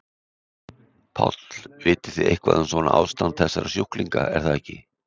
Páll: Þið vitið eitthvað um svona ástand þessara sjúklinga er það ekki?